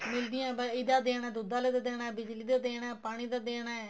ਮਿਲਦੀਆਂ ਤਾਂ ਇਹਦਾ ਦੇਣਾ ਦੁੱਧ ਆਲੇ ਦਾ ਦੇਣਾ ਬਿਜਲੀ ਦਾ ਦੇਣਾ ਪਾਣੀ ਦਾ ਦੇਣਾ